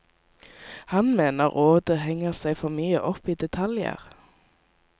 Han mener rådet henger seg for mye opp i detaljer.